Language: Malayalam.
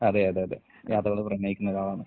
അതെ അതെ അതെ. യാത്രകളെ പ്രണയിക്കുന്നൊരാളാണ്.